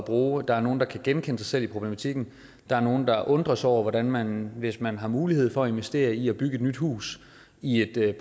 bruge der er nogle der kan genkende sig selv i problematikken der er nogle der undrer sig over hvordan man hvis man har mulighed for at investere i at bygge et nyt hus i et